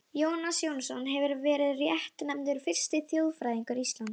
Í riti Ljóstæknifélagsins hefur raunar verið bent á það sama.